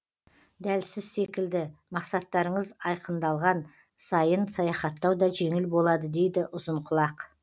дәл сіз секілді мақсаттарыңыз айқындалған сайын саяхаттау да жеңіл болады дейді ұзынқұлақ